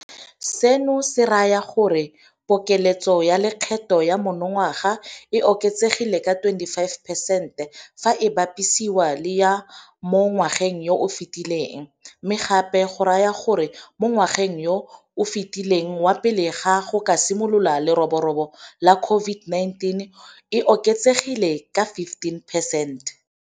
Seno se raya gore pokeletso ya lekgetho ya monongwaga e oketsegile ka 25 percente fa e bapisiwa le ya mo ngwageng yo o fetileng, mme gape go raya gore mo ngwageng yo o fetileng wa pele ga go ka simolola leroborobo la COVID-19 e oketsegile ka 15 percent.